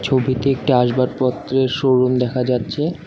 ছবিতে একটি আসবাবপত্রের শোরুম দেখা যাচ্ছে।